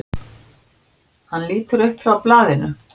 Hann lítur upp frá blaðinu.